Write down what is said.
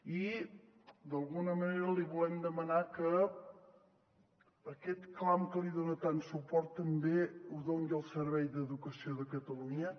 i d’alguna manera li volem demanar que aquest clam a què li dona tant suport també el doni al servei d’educació de catalunya